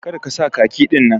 Kar ka sa khaki din.